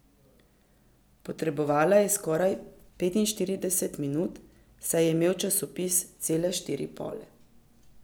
Potrebovala je skoraj petinštirideset minut, saj je imel časopis cele štiri pole.